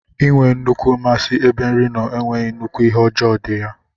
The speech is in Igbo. Inwee nnukwu mmasi ebe nri nno enweghi nnukwu ihe ọjọ di ya.